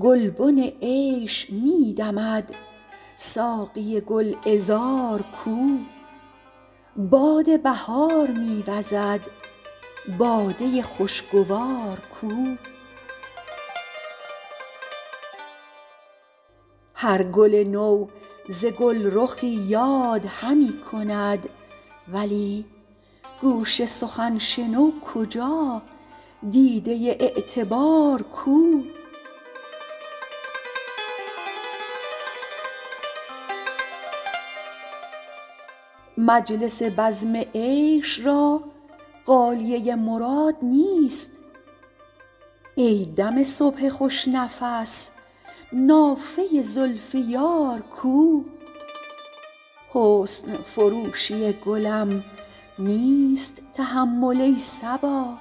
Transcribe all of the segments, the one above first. گلبن عیش می دمد ساقی گل عذار کو باد بهار می وزد باده خوش گوار کو هر گل نو ز گل رخی یاد همی کند ولی گوش سخن شنو کجا دیده اعتبار کو مجلس بزم عیش را غالیه مراد نیست ای دم صبح خوش نفس نافه زلف یار کو حسن فروشی گلم نیست تحمل ای صبا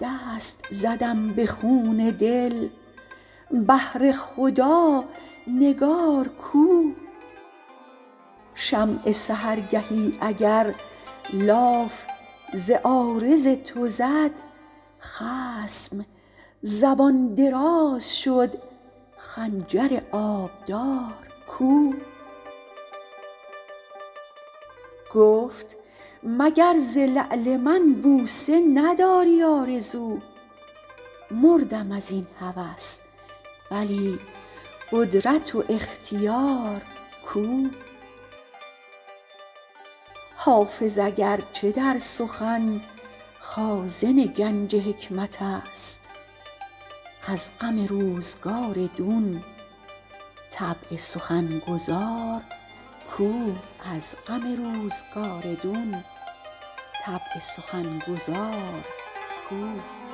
دست زدم به خون دل بهر خدا نگار کو شمع سحرگهی اگر لاف ز عارض تو زد خصم زبان دراز شد خنجر آبدار کو گفت مگر ز لعل من بوسه نداری آرزو مردم از این هوس ولی قدرت و اختیار کو حافظ اگر چه در سخن خازن گنج حکمت است از غم روزگار دون طبع سخن گزار کو